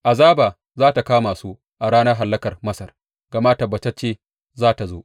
Azaba za tă kama su a ranar hallakar Masar, gama tabbatacce za tă zo.